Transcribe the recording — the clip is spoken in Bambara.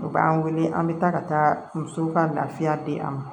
U b'an wele an bɛ taa ka taa musow ka lafiya di a ma